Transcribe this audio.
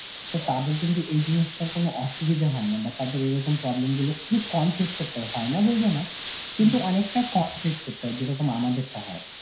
তো তাদের কিন্তু এই জিনিসটার কোন অসুবিধা হয় না, বা তাদের এরকম problem খুবই কম face করতে হয়, হয় না বলবো না কিন্তু অনেকটা কম face করতে হয় যেরকম আমাদেরটা হয়.